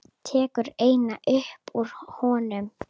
Tekur eina upp úr honum.